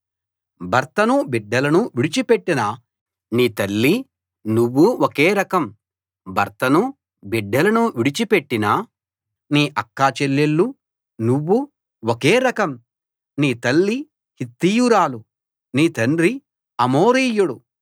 భర్తనూ బిడ్డలనూ విడిచిపెట్టిన నీ తల్లీ నువ్వూ ఒకే రకం భర్తనూ బిడ్డలనూ విడిచిపెట్టిన నీ అక్కచెల్లెళ్ళు నువ్వూ ఒకే రకం నీ తల్లి హిత్తీయురాలు నీ తండ్రి అమోరీయుడు